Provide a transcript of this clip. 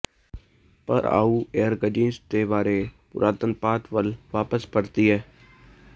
ਪਰ ਆਓ ਏਰਗਜਿਨਜ਼ ਦੇ ਬਾਰੇ ਪੁਰਾਤਨਪਾਤ ਵੱਲ ਵਾਪਸ ਪਰਤੀਏ